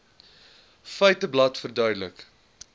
feiteblad verduidelik